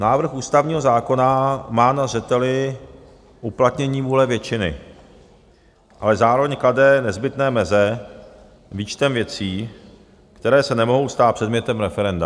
Návrh ústavního zákona má na zřeteli uplatnění vůle většiny, ale zároveň klade nezbytné meze výčtem věcí, které se nemohou stát předmětem referenda.